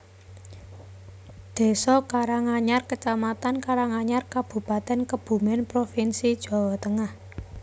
Désa Karanganyar kecamatan Karanganyar Kabupatèn Kebumèn provinsi Jawa Tengah